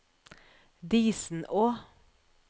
Disenå